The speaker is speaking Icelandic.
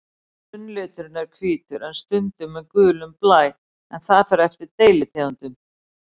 Grunnliturinn er hvítur en stundum með gulum blæ, en það fer eftir deilitegundum.